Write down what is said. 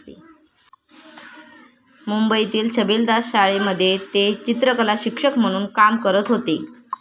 मुंबईतील छबिलदास शाळेमध्ये ते चित्रकलाशिक्षक म्हणून काम करत होते.